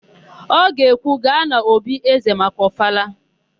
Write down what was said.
Ọ ga-ekwu, "gaa n'òbí ézē maka ọfala"!